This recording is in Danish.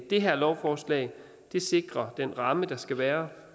det her lovforslag sikrer den ramme der skal være